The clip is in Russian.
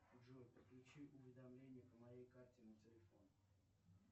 джой подключи уведомления по моей карте на телефон